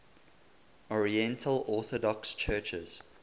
oriental orthodox churches